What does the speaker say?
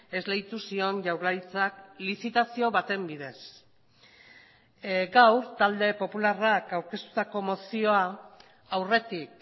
esleitu zion jaurlaritzak lizitazio baten bidez gaur talde popularrak aurkeztutako mozioa aurretik